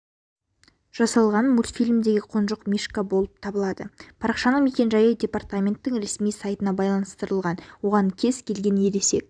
жасалған мультфильмдегі қоншық мишка болып табылады парақшаның мекен-жайы департаменттің ресми сайтына байланыстырылған оған кез-келген ересек